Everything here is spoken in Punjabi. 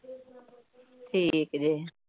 ਠੀਕ ਜੇ।